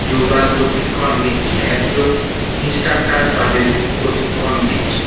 যোগা প্রশিক্ষণ নিচ্ছে একজন ইন্সট্রাক্টার তাদের প্রশিক্ষণ দিচ্ছে।